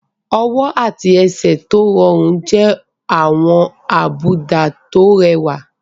Ọwọ́ àti ẹsẹ̀ tó rọrùn jẹ́ àwọn àbùdá tó rẹwà.